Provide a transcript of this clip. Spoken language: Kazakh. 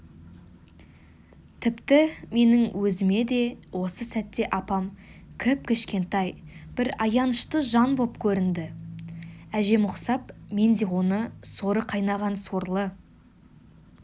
тіпті менің өзіме де осы сәтте апам кіп-кішкентай бір аянышты жан боп көрінді әжем ұқсап мен де оны соры қайнаған сорлы